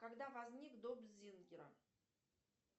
когда возник дом зингера